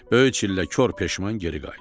Böyük çillə kor peşman geri qayıtdı.